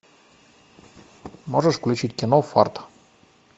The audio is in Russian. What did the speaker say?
можешь включить кино фарт